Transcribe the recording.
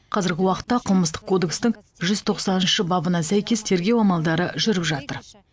қазіргі уақытта қылмыстық кодекстің жүз тоқсаныншы бабына сәйкес тергеу амалдары жүріп жатыр